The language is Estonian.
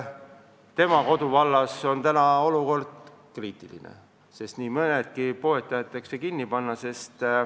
Tema koduvallas on olukord kriitiline, sest nii mõnedki poed tahetakse kinni panna.